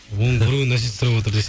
оның біреуін әсет сұрап отыр